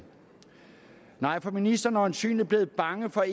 nej for ministeren er øjensynlig blevet bange for